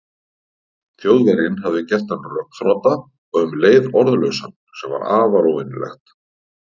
Þjóðverjinn hafði gert hann rökþrota og um leið orðlausan, sem var afar óvenjulegt.